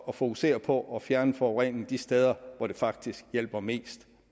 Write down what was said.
at fokusere på at fjerne forureningen de steder hvor det faktisk hjælper mest